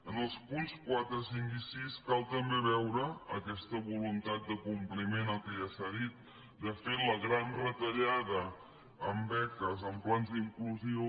en els punts quatre cinc i sis cal també veure aquesta voluntat de compliment del que ja s’ha dit de fer la gran retallada en beques en plans d’inclusió